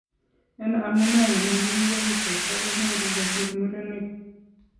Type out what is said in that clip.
En amunee nemakiinken, cheebta konyoru kosir murenik.